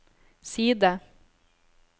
side